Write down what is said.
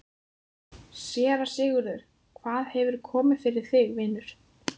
SÉRA SIGURÐUR: Hvað hefur komið fyrir þig, vinur?